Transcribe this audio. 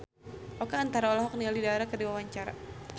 Oka Antara olohok ningali Dara keur diwawancara